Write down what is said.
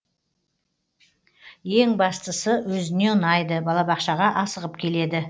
ең бастысы өзіне ұнайды балабақшаға асығып келеді